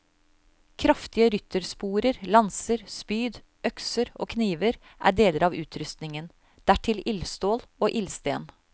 Kraftige ryttersporer, lanser, spyd, økser og kniver er deler av utrustningen, dertil ildstål og ildsten.